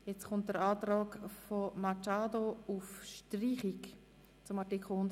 Wir kommen zum Antrag Machado auf Streichung von Artikel 137.